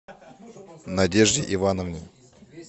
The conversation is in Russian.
надежде ивановне